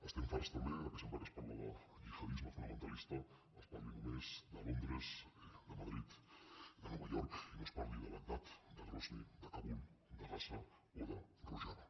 estem farts també que sempre que es parla de gihadisme fonamentalista es parli només de londres de madrid de nova york i no es parli de bagdad de grozny de kabul de gaza o de rojava